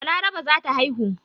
Balaraba za ta haihu.